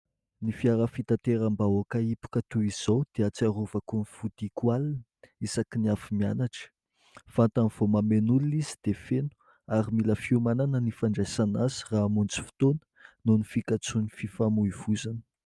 Ny fiara fitateram-bahoaka hipoka toy izao dia ahatsiarovako ny fodiako alina isaky ny avy mianatra, vantany vao mameno olona izy dia feno ary mila fiomanana ny fandraisana azy raha hamonjy fotoana noho ny fikatsohan'ny fifamoivozana.